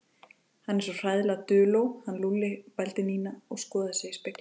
Hann er svo hræðilega duló, hann Lúlli vældi Nína og skoðaði sig í spegli.